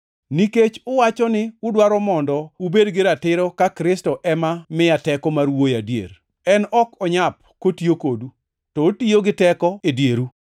nikech uwacho ni udwaro mondo ubed gi ratiro ka Kristo ema miya teko mar wuoyo adier. En ok onyap kotiyo kodu, to otiyo gi teko e dieru.